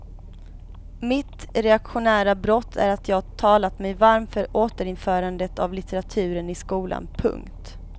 Mitt reaktionära brott är att jag talat mig varm för återinförande av litteraturen i skolan. punkt